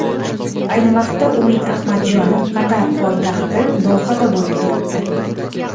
Ayni vaqtda Umid Ahmadjonov Qatar poytaxti Dohada bo‘lib turibdi.